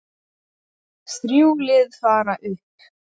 Þrjú lið fara upp.